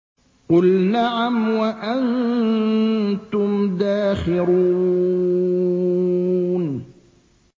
قُلْ نَعَمْ وَأَنتُمْ دَاخِرُونَ